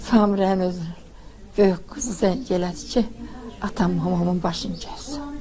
Samirənin özü böyük qızı zəng elədi ki, atam, mamamın başını kəsib.